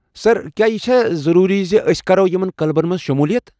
سر، کیا یہ چھ ضٔروٗری ز أسۍ كرو یمن کلبن منٛز شُمولِیت ؟